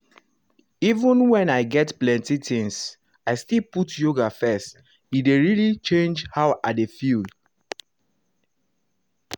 even when i get plenty things i still put yoga first e dey really change how i dey feel.